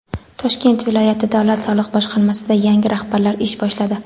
Toshkent viloyati davlat soliq boshqarmasida yangi rahbarlar ish boshladi.